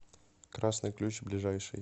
красный ключ ближайший